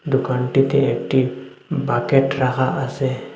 দোকানটিতে একটি বাকেট রাখা আসে।